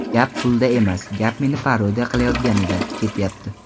Gap pulda emas, gap meni parodiya qilayotganida ketyapti.